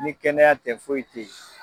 Ni kɛnɛya tɛ foyi tɛ yen.